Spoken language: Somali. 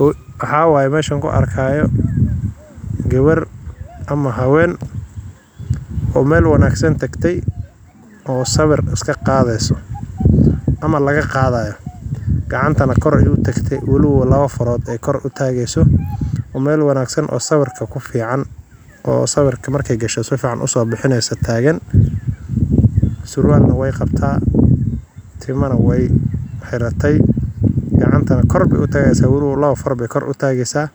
Waxa wayo mesha kuarka gabar ama haween o meel wanagsan tagtay o sawar iskaqadeyso ama lagaqadayo gacantana kor ay utagatay laba farood ay kor uatageyso meel wangsan o sawar marka ay gasho sifican uso bixineysa tagan suurwalna wey qabta timanaya wey xeratay gacanta kor bey utageysa o labo faar bey kor utageysa